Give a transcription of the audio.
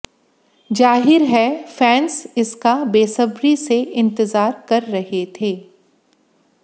जाहिर है फैंस इसका बेसब्री से इंतजार कर रहे थे